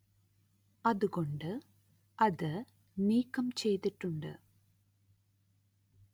അതു കൊണ്ട് അത് നീക്കം ചെയ്തിട്ടുണ്ട്